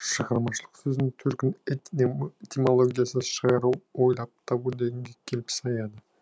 шығармашылық сөзінің төркіні этимологиясы шығару ойлап табу дегенге келіп саяды